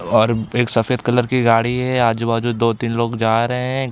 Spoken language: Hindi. और एक सफ़ेद कलर की गाड़ी है। आजु-बाजू दो तीन लोग जा रहे है।